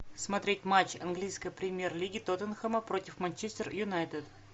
смотреть матч английской премьер лиги тоттенхэма против манчестер юнайтед